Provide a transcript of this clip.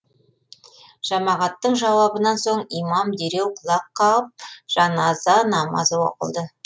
жамағаттың жауабынан соң имам дереу құлақ қағып жаназа намазы оқылды